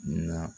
Na